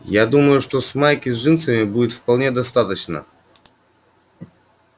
я думаю что с майки с джинсами будет вполне достаточно